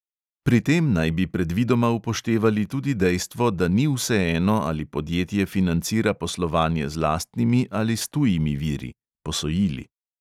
Pri tem naj bi predvidoma upoštevali tudi dejstvo, da ni vseeno, ali podjetje financira poslovanje z lastnimi ali s tujimi viri